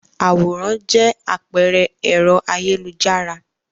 Àwòrán jẹ àpẹẹrẹ ẹ̀rọ ayélujára.